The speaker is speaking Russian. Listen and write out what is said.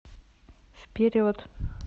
вперед